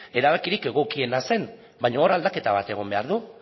erabakirik egokiena zen baina hor aldaketa bat egon behar du